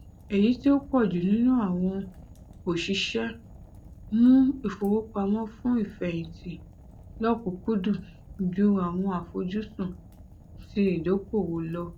èyí tí ó pọjù nínú àwọn òṣìṣẹ mú ìfowópamọ fún ìfẹhìntì lọkùúkúdùn ju àwọn àfojúsùn ti ìdókòwò lọ